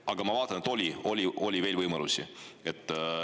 Aga ma vaatan, et oli veel võimalusi.